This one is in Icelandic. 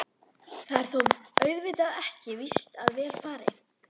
Það er þó auðvitað ekki víst að vel fari.